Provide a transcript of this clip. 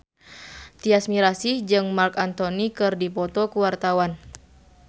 Tyas Mirasih jeung Marc Anthony keur dipoto ku wartawan